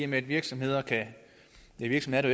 med at virksomheder ja virksomheder